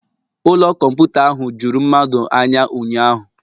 Ụlọ kọmputa ahụ juru mmadụ anya ụnyahụ